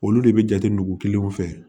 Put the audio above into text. Olu de bɛ jate nugu kelen fɛ